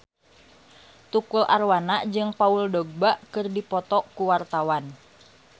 Tukul Arwana jeung Paul Dogba keur dipoto ku wartawan